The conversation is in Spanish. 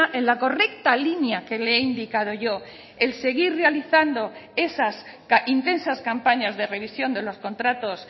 en la correcta línea que le he indicado yo el seguir realizando esas intensas campañas de revisión de los contratos